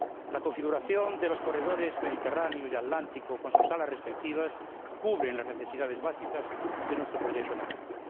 La configuración de los corredores Mediterráneo y Atlántico con sus áreas respectivas cubre las necesidades básicas de nuestro proyecto nacional.